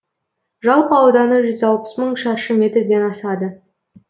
жалпы ауданы жүз алпыс мың шаршы метрден асады